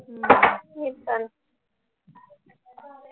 आह मी पण